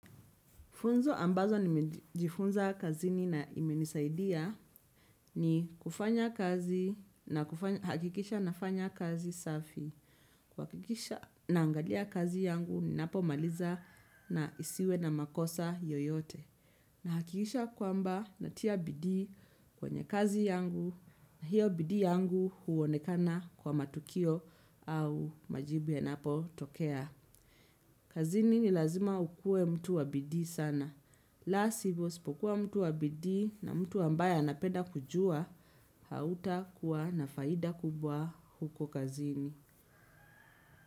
Funzo ambalo nimejifunza kazini na imenisaidia ni kufanya kazi nakuhakikisha nafanya kazi safi. Kuhakikisha naangalia kazi yangu ninapo maliza isiwe na makosa yoyote. Nahakikisha kwamba natia bidii kwenye kazi yangu, na hiyo bidii yangu huonekana kwa matukio au majibu yanapotokea. Kazini ni lazima ukuwe mtu wa bidii sana. La sivyo, usipokuwa mtu wa bidii na mtu ambaye anapeda kujua, hautakuwa na faida kubwa huko kazini.